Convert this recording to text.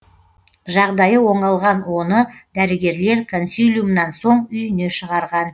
жағдайы оңалған оны дәрігерлер консилиумнан соң үйіне шығарған